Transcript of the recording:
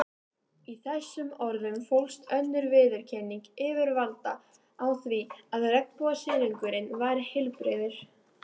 Í þessum orðum fólst önnur viðurkenning yfirvalda á því að regnbogasilungurinn væri heilbrigður.